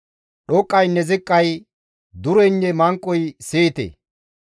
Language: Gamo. Dhoqqaynne ziqqay, dureynne manqoyka siyite.